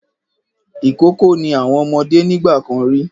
Ìkókó ni àwọn ọmọdé nígbà kan rí.